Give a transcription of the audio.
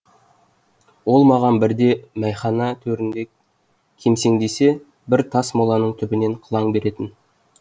ол маған бірде мәйхана төрінде кемсеңдесе бірде тас моланың түбінен қылаң беретін